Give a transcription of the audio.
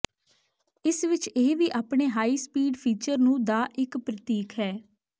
ਇਸ ਵਿਚ ਇਹ ਵੀ ਆਪਣੇ ਹਾਈ ਸਪੀਡ ਫੀਚਰ ਨੂੰ ਦਾ ਇੱਕ ਪ੍ਰਤੀਕ ਹੈ